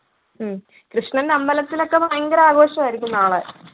ഉം കൃഷ്ണന്റെ അമ്പലത്തിലൊക്കെ ഭയങ്കര ആഘോഷമായിരിക്കും നാളെ